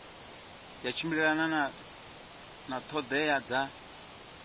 ya tshimbilelana na ṱhoḓea dza